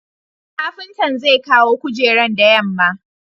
kapintan zekawo kujeran da yamma